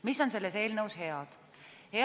Mis on selles eelnõus head?